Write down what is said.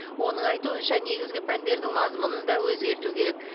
оның айтуынша негізгі пәндердің мазмұнын да өзгерту керек